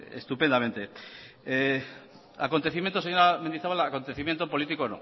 estupendamente señora mendizabal acontecimiento político